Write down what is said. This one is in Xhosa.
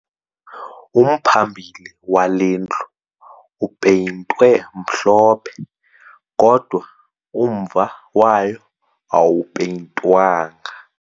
Umphambili wale ndlu upeyintwe mhlophe kodwa umva wayo awupeyintwanga